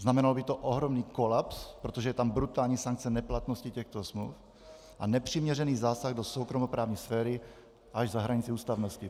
Znamenalo by to ohromný kolaps, protože je tam brutální sankce neplatnosti těchto smluv a nepřiměřený zásah do soukromoprávní sféry až za hranici ústavnosti.